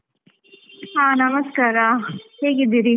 ಹಾ ನಮಸ್ಕಾರ, ಹೇಗಿದ್ದೀರಿ?